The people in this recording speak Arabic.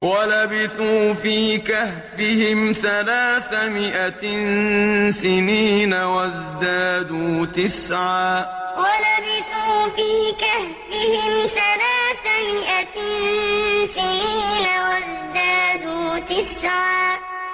وَلَبِثُوا فِي كَهْفِهِمْ ثَلَاثَ مِائَةٍ سِنِينَ وَازْدَادُوا تِسْعًا وَلَبِثُوا فِي كَهْفِهِمْ ثَلَاثَ مِائَةٍ سِنِينَ وَازْدَادُوا تِسْعًا